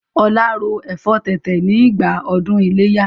Ọlá ro ẹ̀fọ́ tètè ni ìgbà ọdún ileya